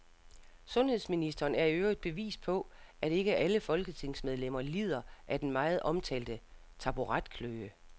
Sundhedsministeren er i øvrigt bevis på, at ikke alle folketingsmedlemmer lider af den meget omtalte taburetkløe.